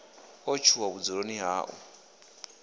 o tshuwa vhudzuloni ha u